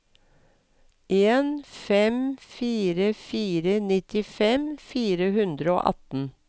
en fem fire fire nittifem fire hundre og atten